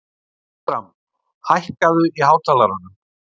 Bertram, hækkaðu í hátalaranum.